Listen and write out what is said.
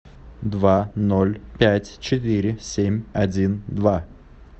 два ноль пять четыре семь один два